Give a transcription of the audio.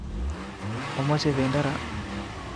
Omoche bedo ra